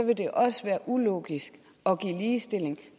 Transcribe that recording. vil det også være ulogisk at give ligestilling